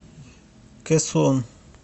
кэсон